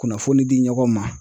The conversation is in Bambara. Kunnafoni di ɲɔgɔn ma